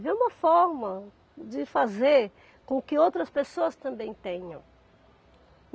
Vê uma forma de fazer com que outras pessoas também tenham.